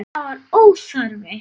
Það var óþarfi.